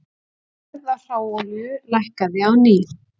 Verð á hráolíu lækkaði á ný